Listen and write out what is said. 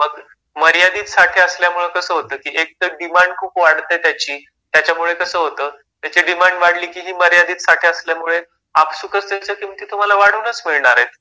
मग मर्यादित साठे असल्यामुळे कसं होतं की एक तर डिमांड खूप वाढते त्याची त्याच्यामुळे कसं होतं त्याची डिमांड वाढले की मर्यादित साठे असल्यामुळे की आपसूकच त्याच्या किमती वाढूनच मिळणार आहेत.